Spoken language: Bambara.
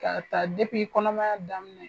K'a ta depi kɔnɔmaya daminɛ.